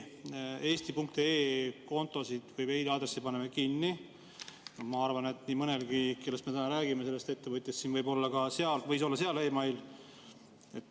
Me eesti.ee meiliaadresse paneme kinni, aga ma arvan, et nii mõnelgi ettevõtjal, kellest me täna räägime, võis seal meiliaadress olla.